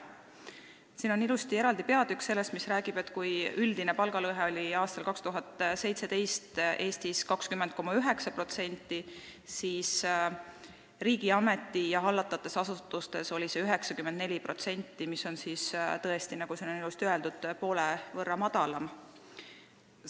Siin on ilusti eraldi peatükk, mis räägib, et kui üldine palgalõhe oli aastal 2017 Eestis 20,9%, siis riigi ameti- ja hallatavates asutustes oli see 9,4%, mis on siis tõesti, nagu siin on ilusti öeldud, poole võrra madalam.